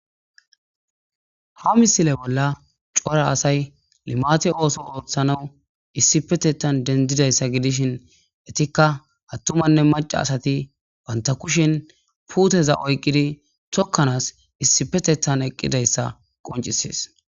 Ha misile bolla cora asay climate ootho oothanaw issipetethan dendidaysa hidishin entika attumanne maca asati banta kushen puteza oykidi tokanas issipetethan eqidaysa qoncises